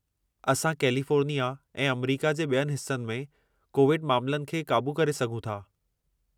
असां कैलिफ़ोर्निया ऐं अमरीका जे ॿियनि हिस्सनि में कोविड मामलनि खे क़ाबू करे सघूं था।